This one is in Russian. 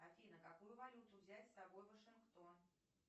афина какую валюту взять с собой в вашингтон